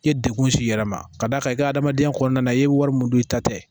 I ye degun s'i yɛrɛ ma ka d'a kan i ka adamadenya kɔnɔna i ye wari min don i ta tɛ